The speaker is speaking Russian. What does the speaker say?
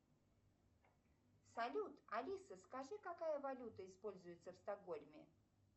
салют алиса скажи какая валюта используется в стокгольме